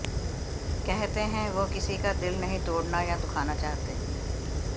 कहते हैं वो किसी का दिल नहीं तोडना या दुखाना चाहते